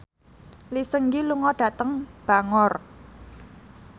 Lee Seung Gi lunga dhateng Bangor